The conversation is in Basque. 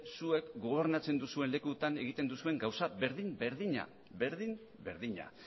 zuek gobernatzen duzuen lekuetan egiten duzuen gauza berdin berdina berdin berdina